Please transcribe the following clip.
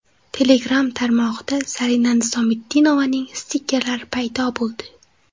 Telegram tarmog‘ida Zarina Nizomiddinovaning stikkerlari paydo bo‘ldi.